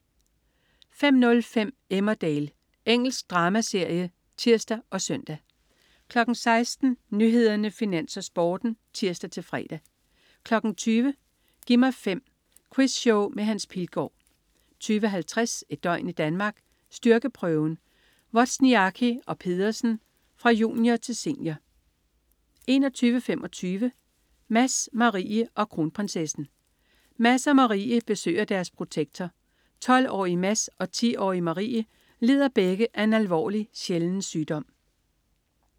05.05 Emmerdale. Engelsk dramaserie (tirs og søn) 16.00 Nyhederne, Finans, Sporten (tirs-fre) 20.00 Gi' mig 5. Quizshow med Hans Pilgaard 20.50 Et døgn i Danmark: Styrkeprøven. Wozniacki og Pedersen, fra junior til senior 21.25 Mads, Marie og Kronprinsessen. Mads og Marie besøger deres protektor. 12-årige Mads og 10-årige Marie lider begge af en alvorlig, sjælden sygdom